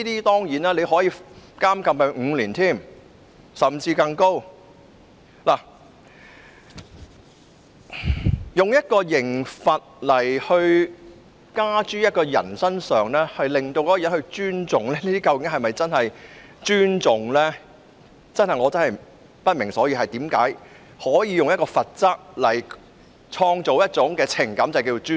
當然，它可處以5年的刑期甚或更高，但透過刑罰方式迫使人們尊重，究竟又是否真正的尊重呢？我真的不明所以，為何能以罰則創造一種名為尊重的情感？